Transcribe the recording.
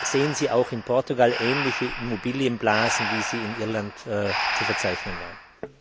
Sehen Sie auch in Portugal ähnliche Immobilienblasen, wie sie in Irland zu verzeichnen waren?